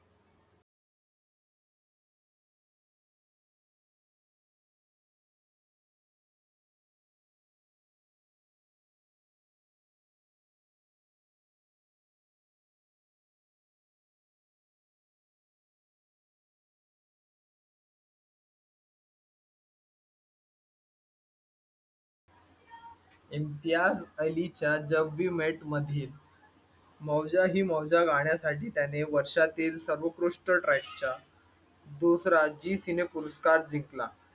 इम्तियाझ अलीच्या jab we met मध्ये माऊजा ही मौजा या गाण्यासाठी वर्षातील सर्वोत्कृष्ट ट्रेकचा दुसरा झी सिने पुरस्कार जिंकला